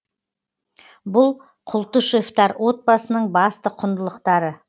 бұл култышевтар отбасының басты құндылықтары